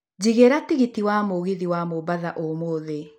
njigĩra tigiti wa mũgithi wa mombatha ũmũthĩ